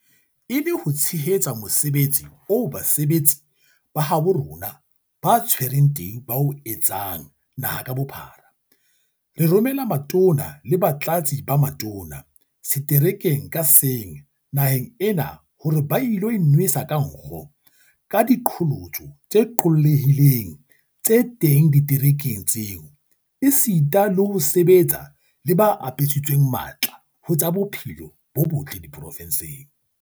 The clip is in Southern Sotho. E le ho tshehetsa mosebetsi oo basebetsi ba habo rona ba tshwereng teu ba o etsang naha ka bophara, re romela Matona le Batlatsi ba Matona seterekeng ka seng naheng ena hore ba ilo inwesa ka nkgo ka diqholotso tse qollehileng tse teng diterekeng tseo, esita le ho sebetsa le ba apesitsweng matla ho tsa bophelo bo botle diprovenseng.